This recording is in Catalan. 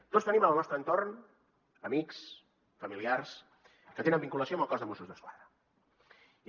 tots tenim en el nostre entorn amics familiars que tenen vinculació amb el cos de mossos d’esquadra